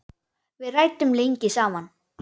Við ræddum lengi saman.